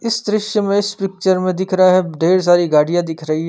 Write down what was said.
इस दृश्य में इस पिक्चर में दिख रहा है ढेर सारी गाड़िया दिख रही हैं।